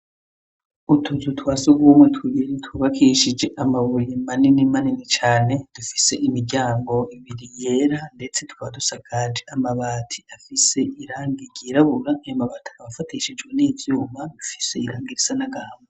Utuzu twa sugumwe tubiri twubakishije amabuye manini manini cane, dufise imiryango ibiri yera ndetse tukaba dusakaje amabati afise irangi ryirabura, ayo mabati akaba afatishijwe n'ivyuma, dufise irangi risa n'agahama.